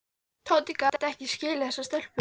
Tóti gat ekki skilið þessar stelpur.